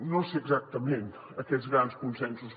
no sé exactament aquests grans consensos